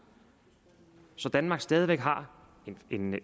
så danmark stadig væk har